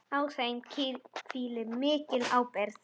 Á þeim hvílir mikil ábyrgð.